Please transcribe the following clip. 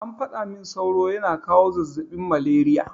An faɗa min sauro yana kawo zazzaɓin malariya.